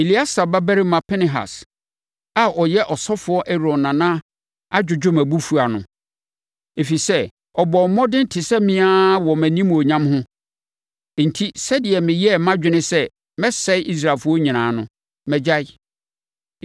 “Eleasa babarima Pinehas a ɔyɛ ɔsɔfoɔ Aaron nana adwodwo mʼabufuo ano, ɛfiri sɛ, ɔbɔɔ mmɔden te sɛ me ara wɔ mʼanimuonyam ho, enti sɛdeɛ meyɛɛ mʼadwene sɛ mɛsɛe Israelfoɔ nyinaa no, magyae.